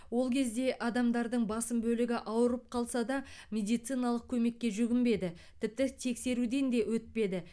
ол кезде адамдардың басым бөлігі ауырып қалса да медициналық көмекке жүгінбеді тіпті тексеруден де өтпеді